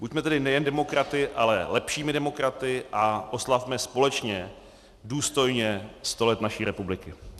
Buďme tedy nejen demokraty, ale lepšími demokraty a oslavme společně důstojně 100 let naší republiky.